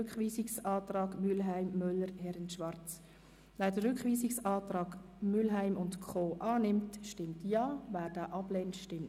Rückweisungsantrag Mühlheim, Bern [glp], Müller, Orvin [SVP], Herren-Brauen, Rosshäusern [BDP], Schwarz, Adelboden [EDU])